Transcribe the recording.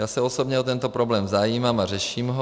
Já se osobně o tento problém zajímám a řeším ho.